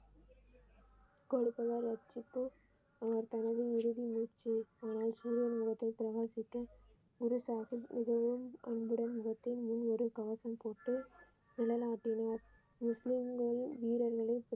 அவர் தனது இறுதி மூச்சு மகன் முகத்தை பிரகாசிக்க குரு சாகிப் மிகவும் மூவரும் கவசம் போட்டு முஸ்லிம்களின் வீரர்களை.